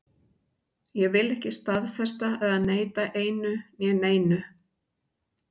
Ég vil ekki staðfesta eða neita einu né neinu.